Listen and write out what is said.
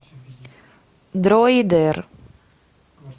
дроидер